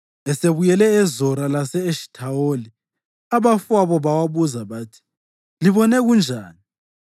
Esebuyele eZora lase-Eshithawoli, abafowabo bawabuza bathi, “Libone kunjani?”